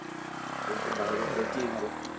কিন্তু বাইরের দেশে